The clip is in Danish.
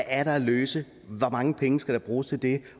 er at løse hvor mange penge der skal bruges til det